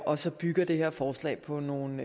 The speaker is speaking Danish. og så bygger det her forslag på nogle